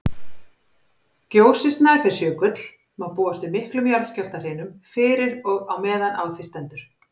Gjósi Snæfellsjökull má búast við miklum jarðskjálftahrinum fyrir og á meðan á því stendur.